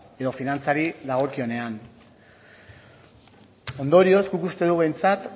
edo finantzari dagokionean ondorioz guk uste dugu behintzat